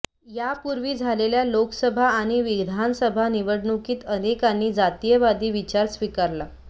यापूर्वी झालेल्या लोकसभा आणि विधानसभा निवडणुकीत अनेकांनी जातीयवादी विचार स्वीकारला